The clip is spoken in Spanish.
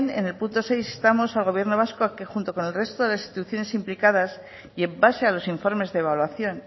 en punto seis instamos al gobierno vasco a que junto con el resto de las instituciones implicadas y en base a los informes de evaluación